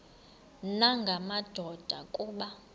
nanga madoda kuba